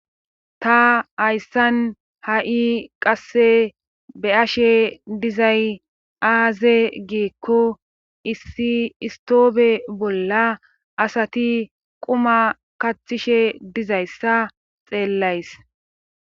Ta hayssan ha7i qasse be 7she dizay aaze giikko issi istoobe bolla asati quma kathishe dizayssa xeellays.